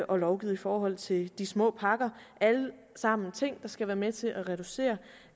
og lovgivet i forhold til de små pakker er alt sammen ting der skal være med til at reducere